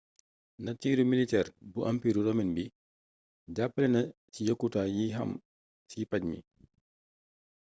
natiiru militeer bu ampiiru romin bi jàppale na ci yokkute yi am ci paj mi